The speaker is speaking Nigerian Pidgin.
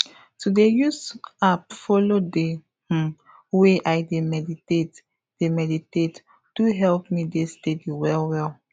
to dey use app follow dey um way i dey meditate dey meditate do help me dey steady well well